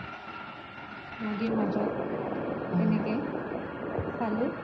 নদিৰ মাজত তেনেকে চালো